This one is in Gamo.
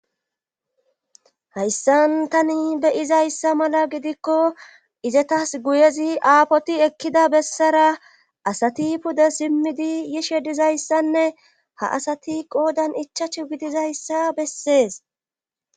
hayssan tani beyizayssa mala gidikko izetas guyezi aapoti ekkida bessara asati pude simmidi yishe dizayssanne ha asati qoodan ichachu gidizayssa bessees